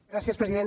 gràcies president